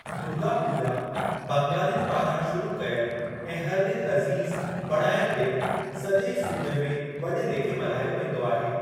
दुर्गा पूॼा, बंगालिनि पारां शुरू कयलु ऐं हर दिलि अज़ीज़ु बणायलु ॾिणु, सॼे सूबे में वॾे लेखे मल्हायो वेंदो आहे।